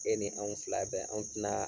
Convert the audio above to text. E ni anw fila bɛ anw tinaa